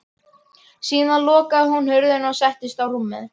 Síðan lokaði hún hurðinni og settist á rúmið.